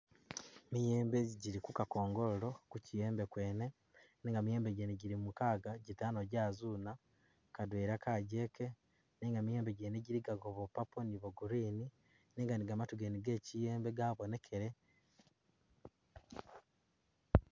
Miyembe jili kukakongolilo nenga miyembe gyene jili mukaaga, jitaano jazuuna, kadwela kagyeke, nenga miyembe mwene jiligako bwa purple ni bwa green, nenga ni gamatu gene ge kiyeembe gabonekele.